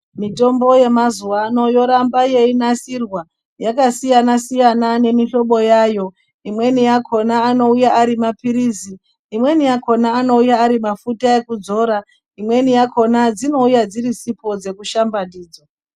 Mitombo yemazuva ano yoramba yeinasirwa yakasiyana siyana nemihlobo yawo imweni uakona inouya iri mapilizi imweni akona anouya ari mafuta ekuzora imweni akona dzinoiya dziri sipo dzekushamba ndidzo.